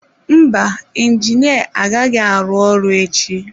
Mba, injinia agaghị arụ ọrụ echi.